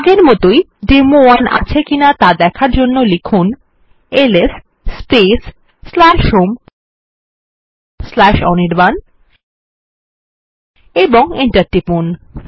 আগের মতই ডেমো1 আছে কিনা দেখার জন্য লিখুন এলএস হোম অনির্বাণ এবং এন্টার টিপুন